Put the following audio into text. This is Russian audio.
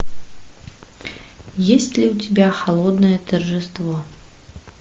есть ли у тебя холодное торжество